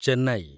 Chennai